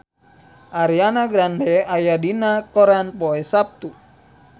Ariana Grande aya dina koran poe Saptu